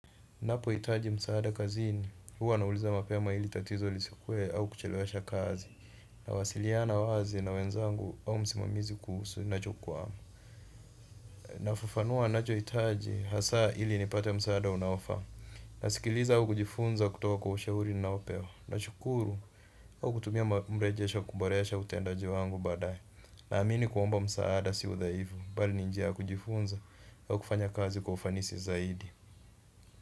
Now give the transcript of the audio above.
Napohitaji msaada kazini, huwa nauliza mapema ili tatizo lisikuwe au kuchelewesha kazi. Nawasiliana wazi na wenzangu au msimamizi kuhusu nacho kwaa na hufafanua nachohitaji hasa ili nipate msaada unaowafahamu. Na sikiliza au kujifunza kutoa kwa ushauri ninaopewa. Na shukuru au kutumia mrejesho kuboresha utendaji wangu baadaye. Naamini kuomba msaada si udhaifu, mbali ni njia kujifunza au kufanya kazi kwa ufanisi zaidi.